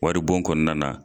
Wari bon kɔnɔna na.